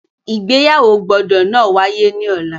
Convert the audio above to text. Igbeyawo gbọdọ náà waye ni ọla!